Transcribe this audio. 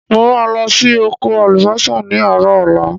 Mo ma lo si oko àlùbósà ni àárọ̀ ọ̀la